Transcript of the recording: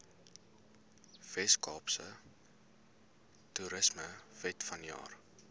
weskaapse toerismewet vanjaar